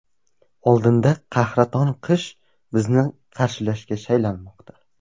Oldinda qahraton qish bizni qarshilashga shaylanmoqda.